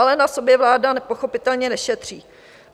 Ale na sobě vláda nepochopitelně nešetří.